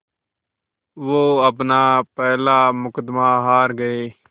वो अपना पहला मुक़दमा हार गए